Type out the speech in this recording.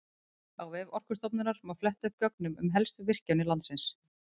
Á vef Orkustofnunar má fletta upp gögnum um helstu virkjanir landsins.